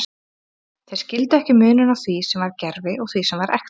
Þeir skildu ekki muninn á því sem var gervi og því sem var ekta.